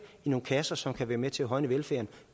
i nogle kasser så de kan være med til at højne velfærden